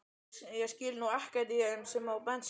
Ég skil nú ekkert í þeim á bensín